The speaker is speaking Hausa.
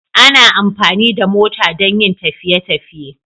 Ana amfani da mota don yin tafiye tafiye